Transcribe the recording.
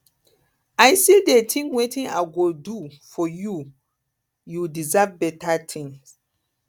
i still dey think wetin i go do for you you deserve beta thing